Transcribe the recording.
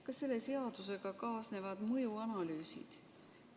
Kas selle seadusega kaasnevad mõjuanalüüsid?